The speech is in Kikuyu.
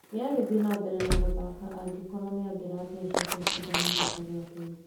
nĩangĩthĩe na mbere na gũthaka angĩkorwo nĩangĩrathecetwo cĩndano rĩta rĩa keri